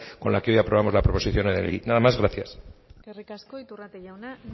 con la que hoy aprobamos la proposición no de ley nada más gracias eskerrik asko iturrate jauna